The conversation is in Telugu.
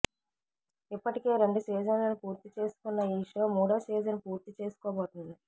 ఇప్పటికే రెండు సీజన్ లను పూర్తి చేసుకున్న ఈ షో మూడో సీజన్ పూర్తి చేసుకోబోతుంది